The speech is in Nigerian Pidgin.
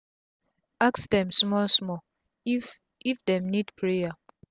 ask dem small small if if dem need prayer